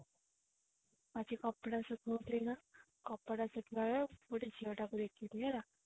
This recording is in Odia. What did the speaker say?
ଆଜି କପଡା ଶୁଖଉଥିଲି କପଡା ଶୁଖେଇଲା ବେଳେ ଗୋଟା ଝିଅଟାକୁ ଦେଖିଲି ହେଲା